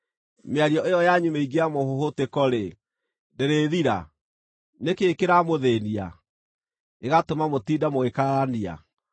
Mĩario ĩyo yanyu mĩingĩ ya mũhũhũtĩko-rĩ, ndĩrĩĩthira? Nĩ kĩĩ kĩramũthĩĩnia, gĩgatũma mũtinde mũgĩkararania?